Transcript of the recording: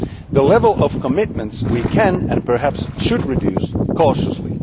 The level of commitments we can, and perhaps should reduce cautiously.